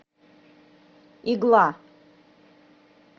игла